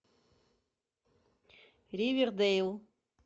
ривердейл